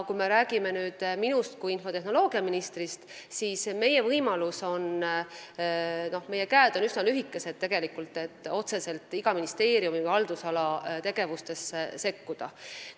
Kui me räägime minust kui infotehnoloogiaministrist, siis meie võimalused on väiksed, meie käed on tegelikult üsna lühikesed, st me ei saa otseselt iga ministeeriumi haldusala tegevustesse sekkuda.